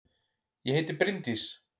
Ég heiti Bryndís!